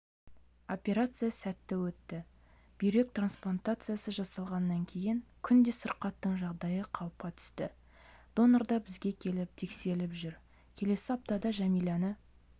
операция сәтті өтті бүйрек трансплантациясы жасалғаннан кейін күнде сырқаттың жағдайы қалыпқа түсті донор да бізге келіп тексеріліп жүр келесі аптада жәмиланы